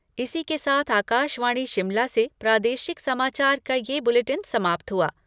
इसी के साथ आकाशवाणी शिमला से प्रादेशिक समाचार का यह बुलेटिन समाप्त हुआ।